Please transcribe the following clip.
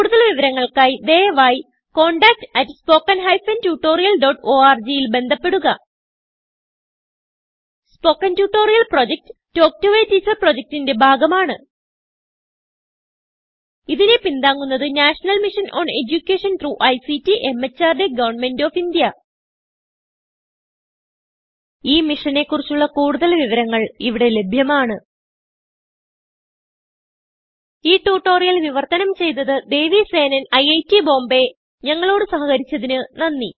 കുടുതൽ വിവരങ്ങൾക്കായി ദയവായിcontactspoken tutorialorg ൽ ബന്ധപ്പെടുക spoken tutorial project talk to a teacher പ്രൊജക്റ്റ്ന്റെ ഭാഗമാണ് ഇതിനെ പിന്താങ്ങുന്നത് national mission on education through ICT MHRD government of India ഈ മിഷനെ കുറിച്ചുള്ള കുടുതൽ വിവരങ്ങൾ ഇവിടെ ലഭ്യമാണ് ഈ ട്യൂട്ടോറിയൽ വിവർത്തനം ചെയ്തത് ദേവി സേനൻIIT ബോംബേ ഞങ്ങളോട് സഹകരിച്ചതിന് നന്ദി